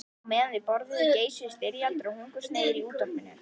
Á meðan þau borðuðu geisuðu styrjaldir og hungursneyðir í útvarpinu.